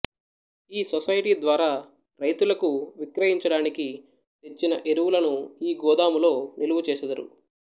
ఈ సొసైటీ ద్వారా రైతులకు విక్రయించడానికి తెచ్చిన ఎరువులను ఈ గోదాములో నిలువచేసెదరు